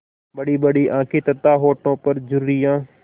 बड़ीबड़ी आँखें तथा होठों पर झुर्रियाँ